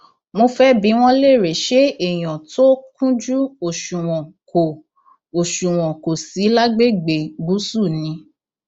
mo fẹẹ bi wọn léèrè ṣé èèyàn tó kúnjú òṣùwọn kò òṣùwọn kò sí lágbègbè gúúsù ni